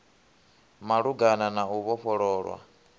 ya malugana na u vhofhololwa